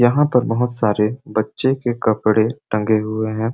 यहाँ पर बहुत सारे बच्चे के कपड़े टन्‍गे हुए है।